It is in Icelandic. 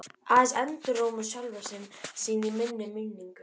Aðeins endurómur sjálfra sín í minni minningu.